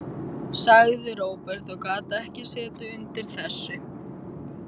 sagði Róbert og gat ekki setið undir þessu.